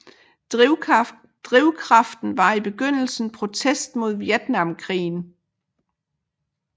Drivkraften var i begyndelsen protest mod Vietnamkrigen